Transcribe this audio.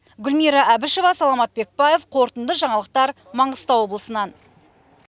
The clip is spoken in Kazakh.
гүлмира әбішева саламат бекбаев қорытынды жаңалықтар маңғыстау облысынан